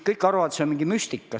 Kõik arvavad, et see on mingi müstika.